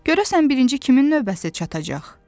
Görəsən birinci kimin növbəsi çatacaq?